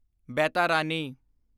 Baitarani